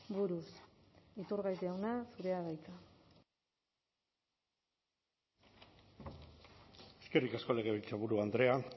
buruz iturgaiz jauna zurea da hitza eskerrik asko legebiltzarburu andrea